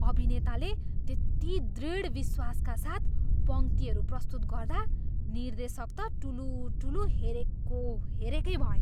अभिनेताले त्यति दृढ विश्वासका साथ पङ्क्तिहरू प्रस्तुत गर्दा निर्देशक त टुलुटुलु हेरेको हेरेकै भए।